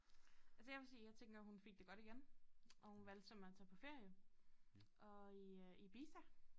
Altså jeg vil sige jeg tænker hun fik det godt igen og hun valgte simpelthen tage på ferie og i øh Ibiza